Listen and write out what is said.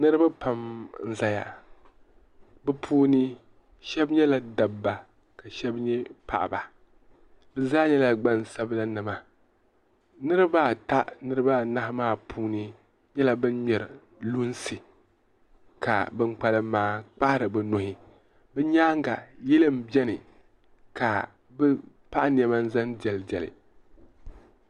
niriba pam n-zaya bɛ puuni shɛba nyɛla dabba ka shɛba nyɛ paɣaba bɛ zaa nyɛla gbaŋsabila nima niriba ata niriba anahi maa puuni nyɛla ban ŋmeri lunsi ka bɛ kpalim maa kpahiri bɛ nuhi bɛ nyaaga yili m-beni ka bɛ paɣi nema n-zaŋ diɛlidiɛli.